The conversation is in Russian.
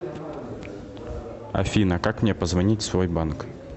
афина как мне позвонить в свой банк